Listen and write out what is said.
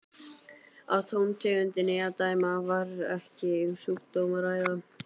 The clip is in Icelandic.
Af tóntegundinni að dæma var ekki um sjúkdóm að ræða.